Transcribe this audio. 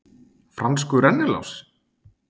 Franskur rennilás?